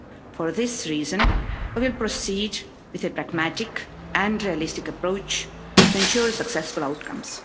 For this reason, we will proceed with a pragmatic and realistic approach to ensure successful outcomes.